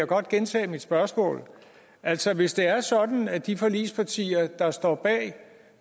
godt gentage mit spørgsmål altså hvis det er sådan at de forligspartier der står bag